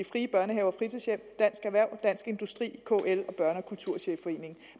frie børnehaver og fritidshjem dansk erhverv dansk industri kl og børne og kulturchefforeningen